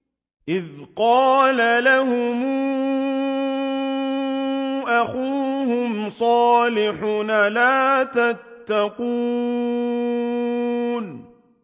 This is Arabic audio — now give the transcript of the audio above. إِذْ قَالَ لَهُمْ أَخُوهُمْ صَالِحٌ أَلَا تَتَّقُونَ